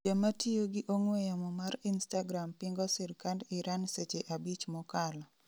jamatiyo gi ong'we yamo mar Instagram pingo sirkand Iran seche 5 mokalo